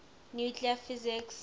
nuclear physics